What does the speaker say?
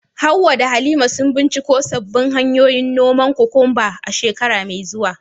Hawwa da Halima, sun binciko sabbin hanyoyin noman kokwamba a shekara mai zuwa.